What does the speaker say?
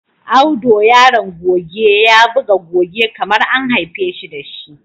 Audo Yaron goge ya buga goge kamar an haifeshi dashi.